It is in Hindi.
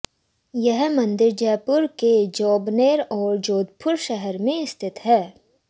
ये मंदिर जयपुर के जोबनेर और जोधपुर शहर में स्थित हैं